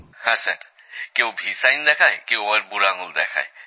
হ্যাঁ স্যার কেউ V sign দেখায় কেউ আবার বুড়ো আঙুল দেখায়